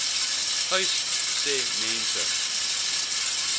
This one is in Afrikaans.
uys sê mense